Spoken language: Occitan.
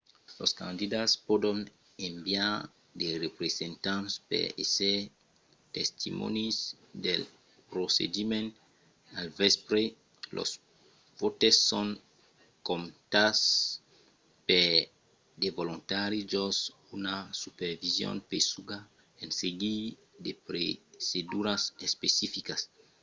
los candidats pòdon enviar de representants per èsser testimònis del procediment. al vèspre los vòtes son comptats per de volontari jos una supervision pesuga en seguir de proceduras especificas